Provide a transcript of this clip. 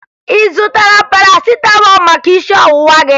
Ị zụtara Parasịtamọọlụ maka isi ọwụwa gị?